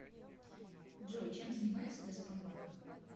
джой чем занимается газпромбанк